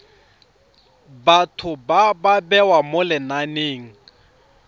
batho ba bewa mo lenaneng